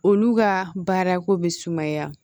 Olu ka baara ko be sumaya